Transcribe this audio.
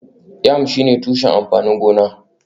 Yam shine tushen amfanin gona